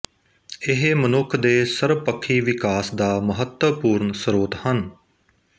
ਇਹ ਮਨੁੱਖ ਦੇ ਸਰਬਪੱਖੀ ਵਿਕਾਸ ਦਾ ਮਹੱਤਵਪੂਰਨ ਸ੍ਰੋਤ ਹਨ